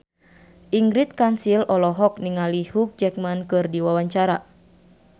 Ingrid Kansil olohok ningali Hugh Jackman keur diwawancara